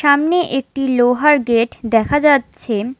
সামনে একটি লোহার গেট দেখা যাচ্ছে।